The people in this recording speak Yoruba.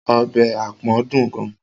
Ọbẹ̀ àpọ̀n dùn gan-an.